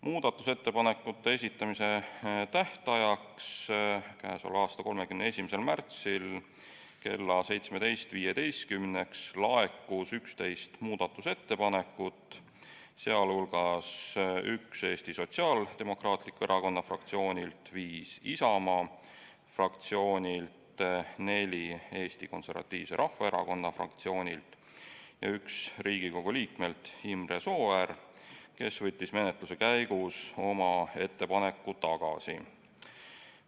Muudatusettepanekute esitamise tähtajaks, 31. märtsil kella 17.15-ks laekus 11 muudatusettepanekut, sh üks Eesti Sotsiaaldemokraatliku Erakonna fraktsioonilt, viis Isamaa fraktsioonilt, neli Eesti Konservatiivse Rahvaerakonna fraktsioonilt ja üks Riigikogu liikmelt Imre Sooäärelt, kes võttis menetluse käigus oma ettepaneku tagasi.